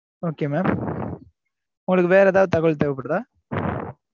okay mam உங்களுக்கு வேறெதாவது தகவல் தேவைப்படுதா?